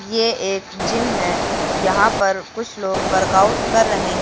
ये एक जिम है यहां पर कुछ लोग वर्कआउट कर रहे हैं।